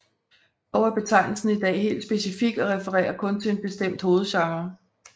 Dog er betegnelsen i dag helt specifik og refererer kun til en bestemt hovedgenre